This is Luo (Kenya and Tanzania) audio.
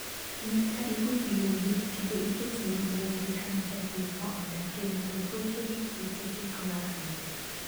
Nyaka igol yugi kendo iketgi mabor gi kama japurno odakie mondo tuoche gi kute kik makgi